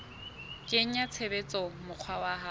kenya tshebetsong mokgwa wa ho